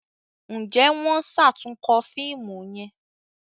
Njé wón ṣatunkọ fíìmù yén?